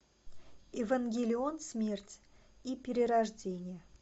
евангелион смерть и перерождение